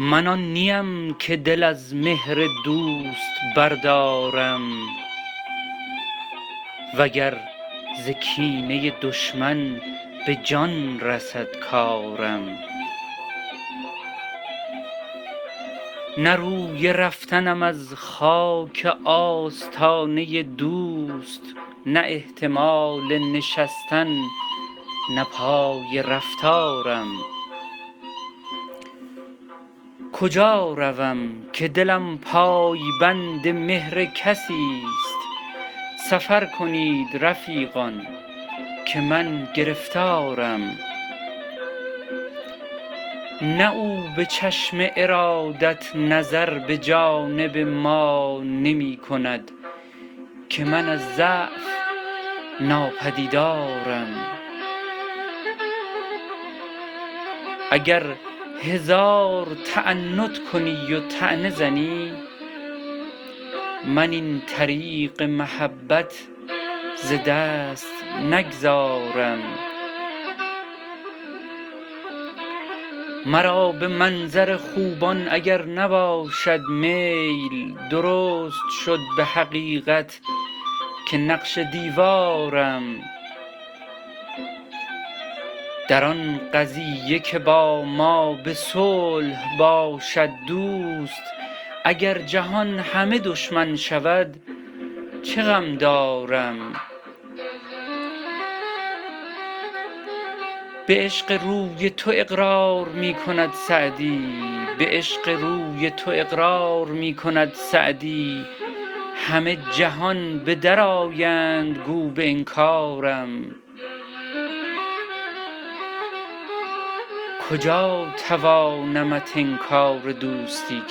من آن نی ام که دل از مهر دوست بردارم و گر ز کینه دشمن به جان رسد کارم نه روی رفتنم از خاک آستانه دوست نه احتمال نشستن نه پای رفتارم کجا روم که دلم پای بند مهر کسی ست سفر کنید رفیقان که من گرفتارم نه او به چشم ارادت نظر به جانب ما نمی کند که من از ضعف ناپدیدارم اگر هزار تعنت کنی و طعنه زنی من این طریق محبت ز دست نگذارم مرا به منظر خوبان اگر نباشد میل درست شد به حقیقت که نقش دیوارم در آن قضیه که با ما به صلح باشد دوست اگر جهان همه دشمن شود چه غم دارم به عشق روی تو اقرار می کند سعدی همه جهان به در آیند گو به انکارم کجا توانمت انکار دوستی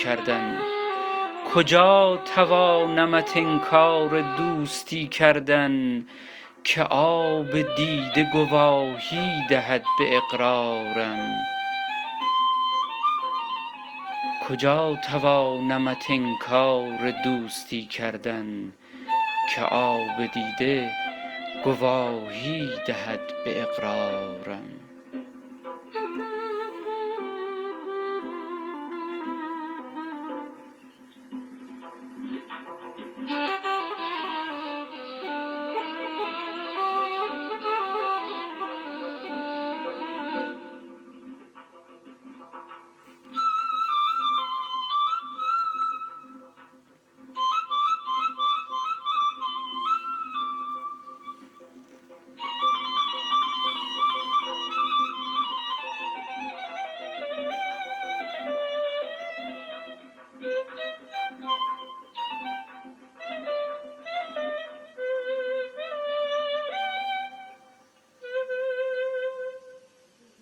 کردن که آب دیده گواهی دهد به اقرارم